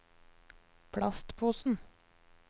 plastposen